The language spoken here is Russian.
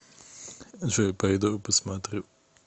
джой пойду посмотрю